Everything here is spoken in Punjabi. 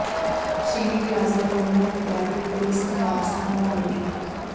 ਛੇਵੀ ਕਲਾਸ ਦਾ ਗੁੰਮ ਹੋਇਆ ਵਿਦਿਆਰਥੀ ਪੁਲਿਸ ਨੇ ਵਾਰਸਾਂ ਹਵਾਲੇ ਕੀਤਾ